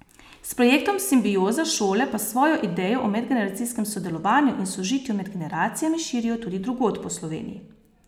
S projektom Simbioza šole pa svojo idejo o medgeneracijskem sodelovanju in sožitju med generacijami širijo tudi drugod po Sloveniji.